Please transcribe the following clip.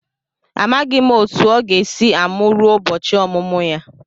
Amaghị m otu o ga-esi amụ ruo ụbọchị ọmụmụ ya.